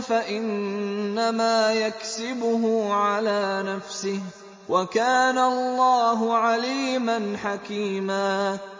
فَإِنَّمَا يَكْسِبُهُ عَلَىٰ نَفْسِهِ ۚ وَكَانَ اللَّهُ عَلِيمًا حَكِيمًا